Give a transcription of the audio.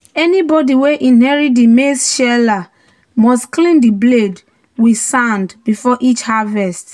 "anybody wey inherit di maize sheller must clean di blade with sand before each harvest."